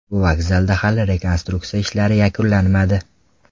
Bu vokzalda hali rekonstruksiya ishlari yakunlanmadi.